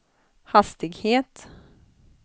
hastighet